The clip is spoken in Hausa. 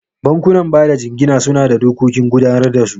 Bankunan bada jingina suna da dokokin gudanar da su.